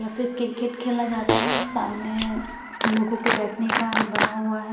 या फिर क्रिकेट खेला जाता है सामने लोगों के बैठने का बना हुआ है।